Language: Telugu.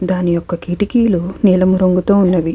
దాని యొక్క కిటికీలు నీలం రంగు తో ఉన్నవి.